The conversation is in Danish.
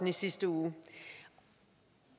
i sidste uge